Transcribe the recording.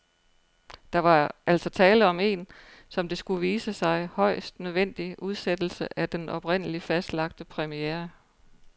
Der var altså tale om en, som det skulle vise sig, højst nødvendig udsættelse af den oprindeligt fastlagte premiere.